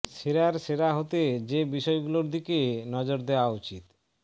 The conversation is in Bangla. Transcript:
সেরার সেরা হতে যে বিষয়গুলোর দিকে নজর দেওয়া উচিত